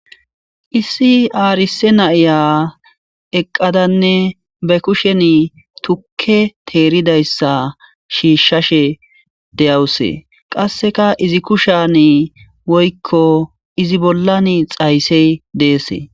Issi arsa nayiya eqadanne ba kusheni tuke teridayisa shishashe deawus qaseka izi kusheni woyiko izi bollani xayise des